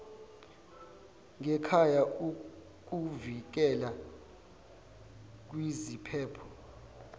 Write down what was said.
ngekhaya ikuvikela kwiziphepho